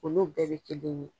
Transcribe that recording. Olu bɛɛ bɛ kelen ye.